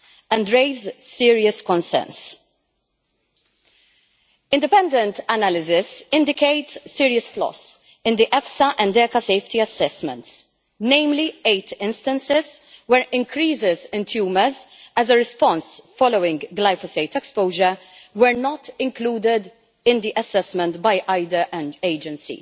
and raise serious concerns. Independent analysis indicates serious flaws in the EFSA and ECHA safety assessments namely, eight instances where increases in tumours as a response following glyphosate exposure were not included in the assessment by either agency.